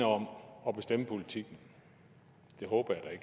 om at bestemme politikken det håber jeg